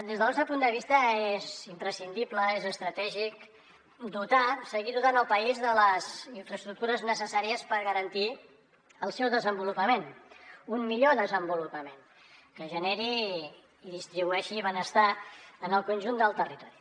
des del nostre punt de vista és imprescindible és estratègic seguir dotant el país de les infraestructures necessàries per garantir el seu desenvolupament un millor desenvolupament que generi i distribueixi benestar en el conjunt del territori